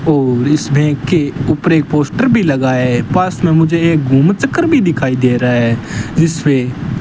और इसमें के ऊपर एक पोस्टर भी लगा है पास में मुझे एक घूम चक्कर भी दिखाई दे रहा है जिसपे --